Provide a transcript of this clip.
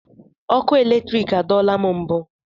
Ọkụ eletrik adọọla m mbụ.